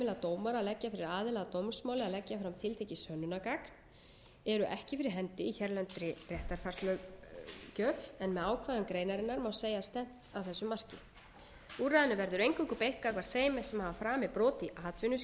dómara að leggja fyrir aðila að dómsmáli að leggja fram tiltekið sönnunargagn eru ekki fyrir hendi í hérlendri réttarfarslöggjöf en með ákvæðum greinarinnar má segja að stefnt sé að þessu marki úrræðinu verður eingöngu beitt gagnvart þeim sem hafa framið brot í atvinnuskyni